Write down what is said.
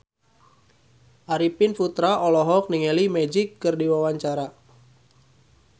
Arifin Putra olohok ningali Magic keur diwawancara